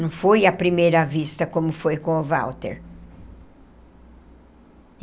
Não foi à primeira vista, como foi com o Walter.